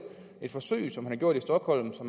forsøg som de har gjort i stockholm så